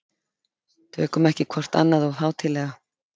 Tökum ekki hvort annað of hátíðlega.